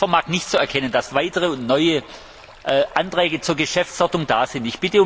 Ich vermag nicht zu erkennen, dass weitere und neue Anträge zur Geschäftsordnung da sind.